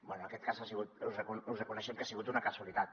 bé en aquest cas us reconeixem que ha sigut una casualitat